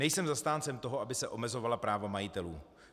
Nejsem zastáncem toho, aby se omezovala práva majitelů.